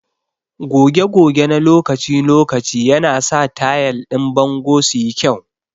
Goge goge na lokaci-lokaci yanasa tayal din bango su yi kyau.